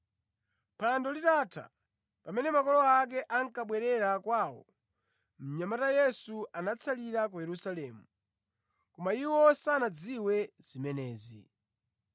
Phwando litatha, pamene makolo ake ankabwerera kwawo, mnyamata Yesu anatsalira ku Yerusalemu, koma iwo sanadziwe zimenezi.